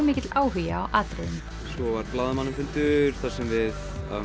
mikill áhugi á atriðinu svo var blaðamannafundur þar sem við